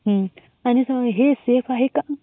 आणि हे सफे आहे काय ?